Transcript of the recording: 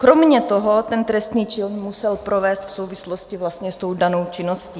Kromě toho ten trestný čin musel provést v souvislosti vlastně s tou danou činností.